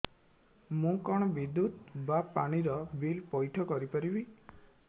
ମୁ କଣ ବିଦ୍ୟୁତ ବା ପାଣି ର ବିଲ ପଇଠ କରି ପାରିବି